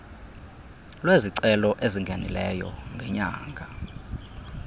lwezicelo ezingenileyo ngenyanga